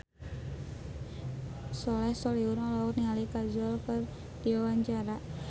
Soleh Solihun olohok ningali Kajol keur diwawancara